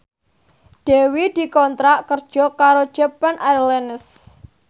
Dewi dikontrak kerja karo Japan Airlines